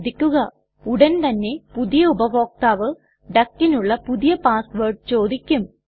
ശ്രദ്ധിക്കുക ഉടൻ തന്നെ പുതിയ ഉപഭോക്താവ് duckനുള്ള പുതിയ പാസ് വേർഡ് ചോദിക്കും